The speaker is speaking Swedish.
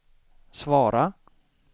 svara